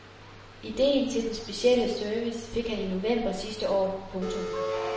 Ideen til den specielle service fik han i november sidste år. punktum